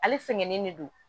Ale sɛgɛnnen ne don